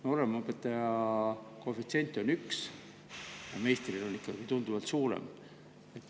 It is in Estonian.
Nooremõpetaja koefitsient on üks, meistril ikkagi tunduvalt suurem.